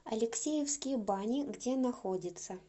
алексеевские бани где находится